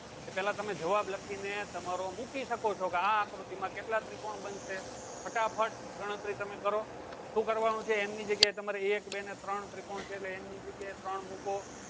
પહેલા તમે જવાબ લખીને તમારો મૂકી શકો છો કે આ આકૃતિમાં કેટલા ત્રિકોણ બનશે? ફટાફટ ગણતરી તમે કરો શું કરવાનું છે એમની જગ્યાએ તમારે એક બે ને ત્રણ ત્રિકોણ છે એટલે n ની જગ્યાએ Three મૂકો